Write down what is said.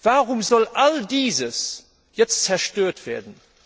Warum soll all dies jetzt zerstört werden?